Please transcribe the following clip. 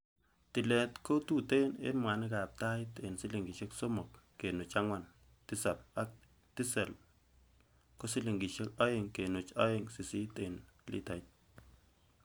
Tilet ko kotuten en mwanikab tait en silingisiek somok kenuch angwan Tisap ak tisel ko silingisiek oeng kenuch oeng sisit en litait.